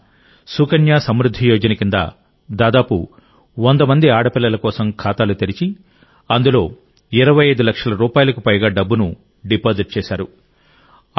ఆయన సుకన్య సమృద్ధి యోజన కింద దాదాపు 100 మంది ఆడపిల్లల కోసం ఖాతాలు తెరిచి అందులో 25 లక్షల రూపాయలకు పైగా డబ్బును డిపాజిట్ చేశారు